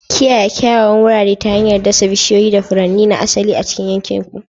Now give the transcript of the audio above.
Kiyaye kyawawan wurare ta hanyar dasa bishiyoyi da furanni na asali a cikin yankin ku.